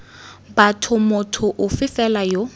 batho motho ofe fela yo